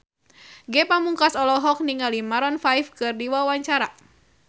Ge Pamungkas olohok ningali Maroon 5 keur diwawancara